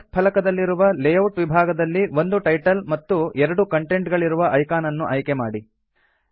task ಫಲಕದಲ್ಲಿರುವ layout ವಿಭಾಗದಲ್ಲಿ ಒಂದು ಟೈಟಲ್ ಮತ್ತು ಎರಡು ಕಂಟೆಂಟ್ ಗಳಿರುವ ಐಕಾನ್ ಅನ್ನು ಆಯ್ಕೆ ಮಾಡಿ